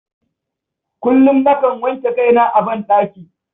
Kullum, nakan wanke kaina a banɗaki.